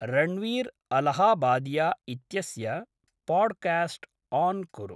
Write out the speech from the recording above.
रण्वीर् अलहाबादिया इत्यस्य podcast on कुरु।